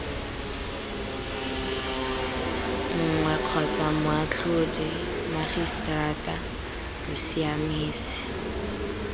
nngwe kgotsa moatlhodi mmagiseterata bosiamisi